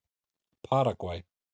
Paragvæ